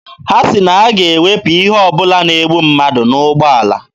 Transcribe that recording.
Ha sị na ha ga-ewepụ ihe ọ bụla na-egbu mmadụ n'ụgbọala.